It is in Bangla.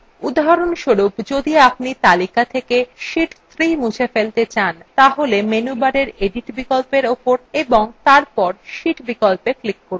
উদাহরণস্বরূপ যদি আপনি তালিকা থেকে sheet 3 মুছে ফেলতে চান তাহলে menu bar edit বিকল্প উপর এবং তারপর sheet বিকল্পে click করুন